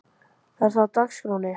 Er það á dagskránni?